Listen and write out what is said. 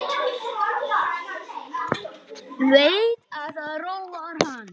Veit að það róar hann.